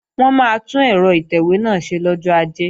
Wọn máa tún ẹ̀rọ ìtẹ̀wé náà ṣe lọ́jọ́ Ajé